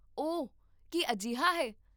ਓਹ, ਕੀ ਅਜਿਹਾ ਹੈ?